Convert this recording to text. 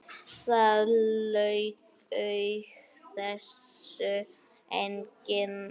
Það laug þessu enginn.